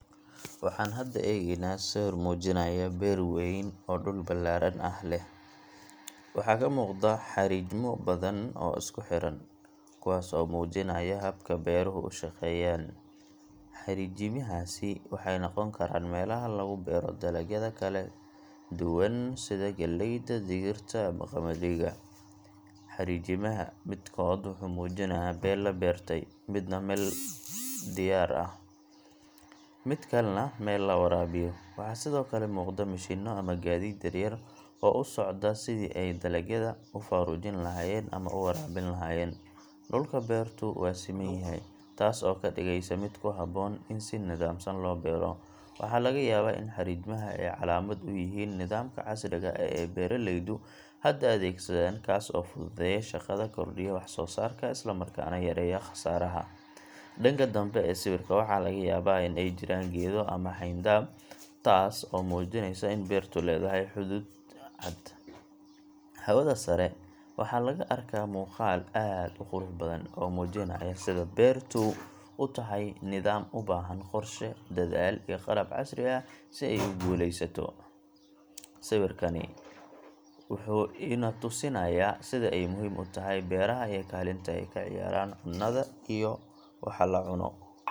Waxaan hadda eegaynaa sawir muujinaya beer weyn oo dhul ballaaran ah leh. Waxa ka muuqda xariijimo badan oo isku xidhan, kuwaas oo muujinaya habka beeruhu u shaqeeyaan. Xariijimahaasi waxay noqon karaan meelaha lagu beero dalagyada kala duwan sida galleyda, digirta, ama qamadiga. Xariijimaha midkood wuxuu muujinayaa meel la beertay, midna meel diyaar ah, mid kalena meel la waraabayo. Waxaa sidoo kale muuqda mishiinno ama gaadiid yaryar oo u socda sidii ay dalagyada u faaruujin lahaayeen ama u waraabin lahaayeen. Dhulka beertu waa siman yahay, taas oo ka dhigaysa mid ku habboon in si nidaamsan loo beero. Waxaa laga yaabaa in xariijimaha ay calaamad u yihiin nidaamka casriga ah ee beeraleydu hadda adeegsadaan, kaas oo fududeeya shaqada, kordhiya wax soo saarka, isla markaana yareeya khasaaraha. Dhanka dambe ee sawirka waxaa laga yaabaa in ay jiraan geedo ama xayndaab, taas oo muujinaysa in beertu leedahay xuduud cad. Hawada sare waxaa laga arkaa muuqaal aad u qurux badan, oo muujinaya sida beertu u tahay nidaam u baahan qorshe, dadaal, iyo qalab casri ah si ay u guulaysato. Sawirkani wuxuu ina tusayaa sida ay muhiim u tahay beeraha iyo kaalinta ay ka ciyaaraan cunnada iyo waxa la cunno.